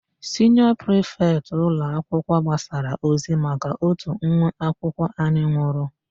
Siniọ prifetị ụlọakwụkwọ gbasara ozi maka ótù nwa akwụkwọ anyị nwụrụ.